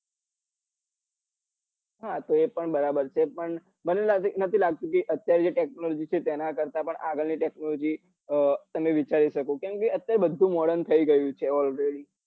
હા તો એ પણ બરાબર છે પણ મને નથી લાગતું કે અત્યારે જે technology છે તેના કરતા પણ આગળ ની technology અ તમે વિચારી શકો કેમ કે અત્યારે બધું modern થઇ ગયું છે already